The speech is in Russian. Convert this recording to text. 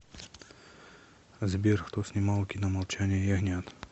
сбер кто снимал кино молчание ягнят